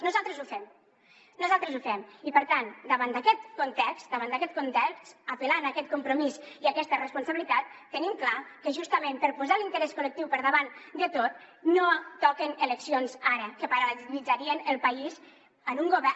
nosaltres ho fem nosaltres ho fem i per tant davant d’aquest context apel·lant a aquest compromís i a aquesta responsabilitat tenim clar que justament per posar l’interès col·lectiu per davant de tot no toquen eleccions ara que paralitzarien el país en un govern